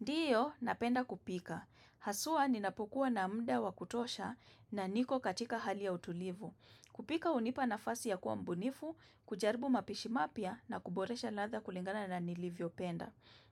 Ndiyo, napenda kupika. Haswa, ninapokua na muda wa kutosha na niko katika hali ya utulivu. Kupika hunipa nafasi ya kuwa mbunifu, kujaribu mapishi mapya na kuboresha ladha kulingana na nilivyopenda.